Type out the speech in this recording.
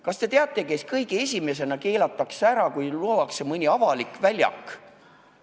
Kas te teate, kes kõige esimesena ära keelatakse, kui rajatakse mõni avalik väljak?